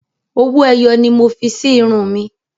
Owó ẹyọ ni mo fi sí irun mi.